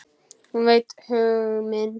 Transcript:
Hún veit hug minn.